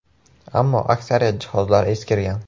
Ammo aksariyat jihozlar eskirgan.